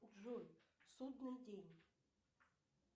джой судный день